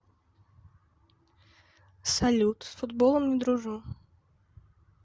салют с футболом не дружу